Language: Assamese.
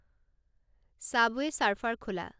ছাবৱে ছাৰ্ফাৰ খোলা